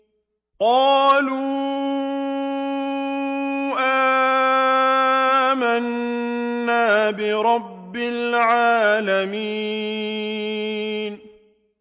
قَالُوا آمَنَّا بِرَبِّ الْعَالَمِينَ